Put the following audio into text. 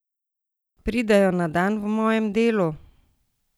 Pridejo na dan v mojem delu?